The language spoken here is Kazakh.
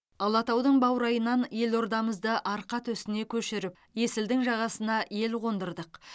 алатаудың баурайынан елордамызды арқа төсіне көшіріп есілдің жағасына ел қондырдық